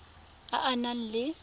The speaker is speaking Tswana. a a neng a le